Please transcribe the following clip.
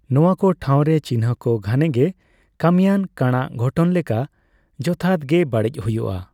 ᱱᱚᱣᱟ ᱠᱚ ᱴᱷᱟᱣᱨᱮ, ᱪᱤᱱᱦᱟᱹ ᱠᱚ ᱜᱷᱟᱱᱮ ᱜᱮ ᱠᱟᱹᱢᱤᱭᱟᱱ ᱠᱟᱬᱟᱜ ᱜᱷᱚᱴᱚᱱ ᱞᱮᱠᱟ ᱡᱚᱛᱷᱟᱛᱜᱮ ᱵᱟᱹᱲᱤᱡ ᱦᱩᱭᱩᱜᱼᱟ ᱾